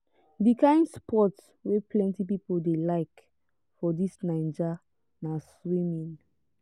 di kain sport wey plenty pipo dey like for dis naija na swimming